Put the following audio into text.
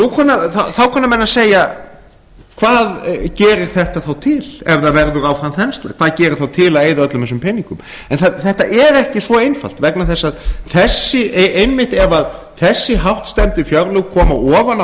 þá kunna menn að segja hvað gerir þetta þá til ef það verður áfram þensla hvað gerir þá til að eyða öllum þessum peningum en þetta er ekki svo einfalt vegna þess að einmitt ef þessi hástemmdu fjárlög koma ofan á